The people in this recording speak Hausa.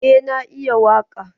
Eh na iya waƙa.